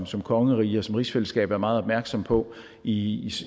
som kongerige og som rigsfællesskab være meget opmærksomme på i